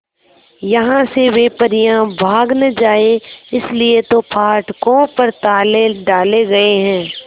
यहां से वे परियां भाग न जाएं इसलिए तो फाटकों पर ताले डाले गए हैं